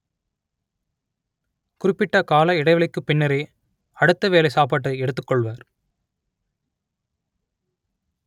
குறிப்பிட்ட கால இடைவெளிக்குப் பின்னரே அடுத்த வேளை சாப்பாட்டை எடுத்துக் கொள்வர்